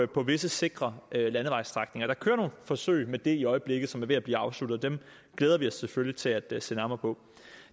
på visse sikre landevejsstrækninger der kører nogle forsøg med det i øjeblikket som er ved at blive afsluttet og dem glæder vi os selvfølgelig til at se nærmere på